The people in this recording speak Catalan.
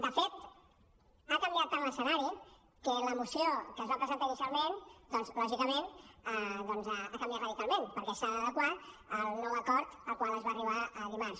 de fet ha canviat tant l’escenari que la moció que es va presentar inicialment doncs lògicament ha canviat radicalment perquè s’ha d’adequar al nou acord al qual es va arribar dimarts